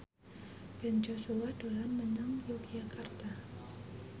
Ben Joshua dolan menyang Yogyakarta